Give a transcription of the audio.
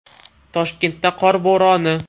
Toshkentda qor bo‘roni.